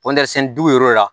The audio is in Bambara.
dugu wɛrɛw la